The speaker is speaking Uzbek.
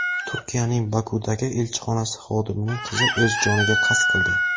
Turkiyaning Bokudagi elchixonasi xodimining qizi o‘z joniga qasd qildi.